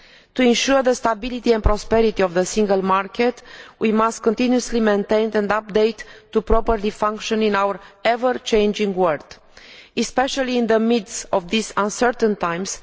To ensure the stability and prosperity of the Single Market we must continuously maintain and update to function properly in our ever changing world, especially in the midst of these uncertain times.